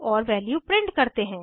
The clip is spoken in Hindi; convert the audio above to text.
और वैल्यू प्रिंट करते हैं